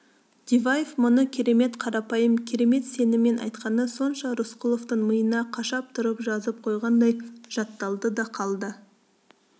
диваев мұны керемет қарапайым керемет сеніммен айтқаны сонша рысқұловтың миына қашап тұрып жазып қойғандай жатталды да қалды